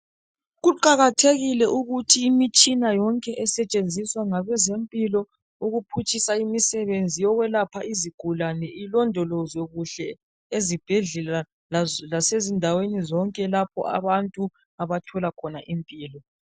Kuqakathekile ukuthi imitshina yonke esetshenziswa ngabezempilo ukuphutshisa imisebenzi yokwelapha izigulane ilondolozwe kuhle ezibhedlela lasezindaweni zonke lapho abantu abathola khona impilo.